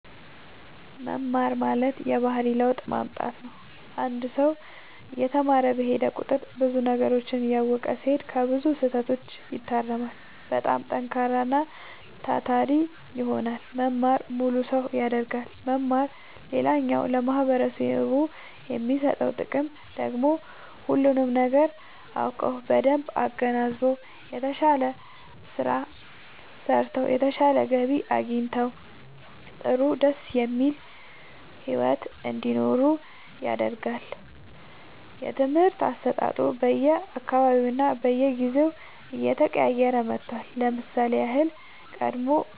መማር ማለት የባህሪ ለውጥ ማምጣት ነው አንድ ሰው እየተማረ በሄደ ቁጥር ብዙ ነገሮችን እያወቀ ሲሄድ ከብዙ ስህተቶች ይታረማል በጣም ጠንካራና ታታሪ ይሆናል መማር ሙሉ ሰው ያደርጋል መማር ሌላኛው ለማህበረሰቡ የሚሰጠው ጥቅም ደግሞ ሁሉንም ነገር አውቀው በደንብ አገናዝበው የተሻለ ስራ ሰርተው የተሻለ ገቢ አግኝተው ጥሩ ደስ የሚል ሒወት እንዲኖሩ ያደርጋቸዋል። የትምህርት አሰጣጡ በየ አካባቢውና በየጊዜው እየተቀያየረ መጥቷል ለምሳሌ ያህል ቀደም